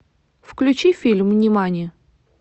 включи фильм нимани